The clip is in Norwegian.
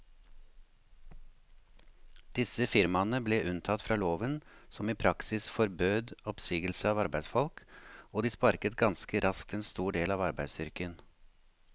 Disse firmaene ble unntatt fra loven som i praksis forbød oppsigelse av arbeidsfolk, og de sparket ganske raskt en stor del av arbeidsstyrken.